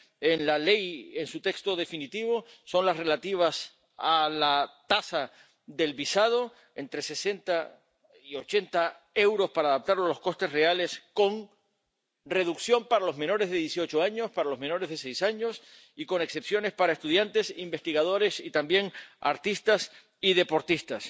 en la ley en su texto definitivo son las relativas a la tasa del visado entre 60 y 80 euros para adaptarlo a los costes reales, con reducción para los menores de 18 años, para los menores de 6 años, y con excepciones para estudiantes, investigadores y también artistas y deportistas.